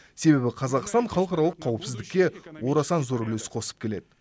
себебі қазақстан халықаралық қауіпсіздікке орасан зор үлес қосып келеді